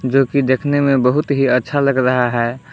जो कि देखने में बहुत ही अच्छा लग रहा है।